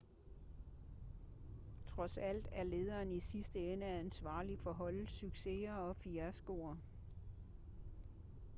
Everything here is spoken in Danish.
trods alt er lederen i sidste ende ansvarlig for holdets succeser og fiaskoer